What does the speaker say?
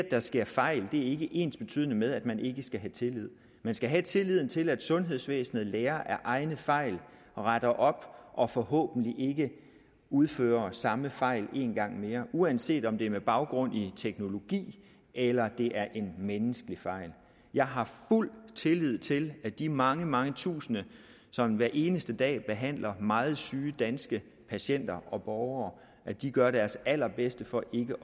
der sker fejl er ikke ensbetydende med at man ikke skal have tillid man skal have tilliden til at sundhedsvæsenet lærer af egne fejl og retter op og forhåbentlig ikke udfører samme fejl en gang mere uanset om det er med baggrund i teknologi eller det er en menneskelig fejl jeg har fuld tillid til at de mange mange tusinde som hver eneste dag behandler meget syge danske patienter og borgere gør deres allerbedste for ikke